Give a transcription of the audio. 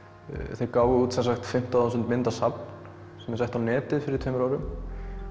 þeir gáfu út fimmtán þúsund mynda safn sem þeir settu á netið fyrir tveimur árum